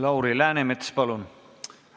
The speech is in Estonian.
Lauri Läänemets, palun!